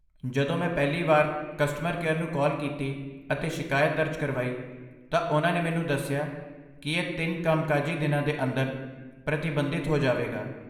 ਜਦੋਂ ਮੈਂ ਪਹਿਲੀ ਵਾਰ ਕਸਟਮਰ ਕੇਅਰ ਨੂੰ ਕਾਲ ਕੀਤੀ ਅਤੇ ਸ਼ਿਕਾਇਤ ਦਰਜ ਕਰਵਾਈ, ਤਾਂ ਉਹਨਾਂ ਨੇ ਮੈਨੂੰ ਦੱਸਿਆ ਕੀ ਇਹ ਤਿੰਨ ਕੰਮਕਾਜੀ ਦਿਨਾਂ ਦੇ ਅੰਦਰ ਪ੍ਰਤੀਬੰਧਿਤ ਹੋ ਜਾਵੇਗਾ